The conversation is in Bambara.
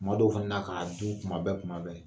Kuma dɔw fana k'a dun kuma bɛɛ kuma bɛɛ